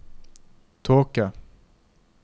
tåke